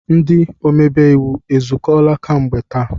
Ndị omebe iwu ezukọọla kemgbe taa?